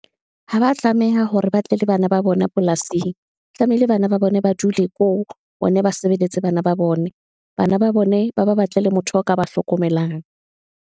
Ha ba tlameha hore ba tle le bana ba bone polasing, tlamehile bana ba bone ba dule ko, bona ba sebeletse bana ba bone, bana ba bone, ba ba batlele motho a ka ba hlokomelang.